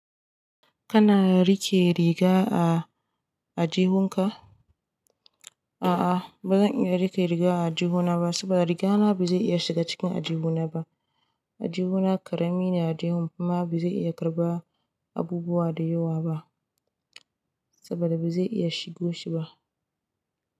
Kana rike riga a, ajjihunka? A'a ba zan iya rike riga ajihuna ba saboda rigana ba zai iya shiga cikin ajihuna ba. Ajihuna karami ne a jihun fima ba zai iya karɓa abubuwa da yawa ba saboda ba zai iya shigo shi ba.